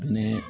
Ne